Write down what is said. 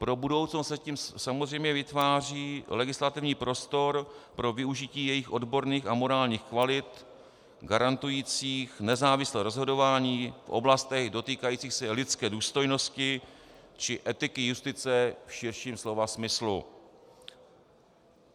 Pro budoucnost se tím samozřejmě vytváří legislativní prostor pro využití jejich odborných a morálních kvalit garantujících nezávislé rozhodování v oblastech dotýkajících se lidské důstojnosti či etiky justice v širším slova smyslu.